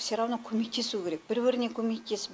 все равно көмектесу керек бір біріне көмектесіп